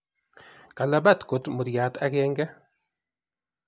kalabat kot muriat ageng'e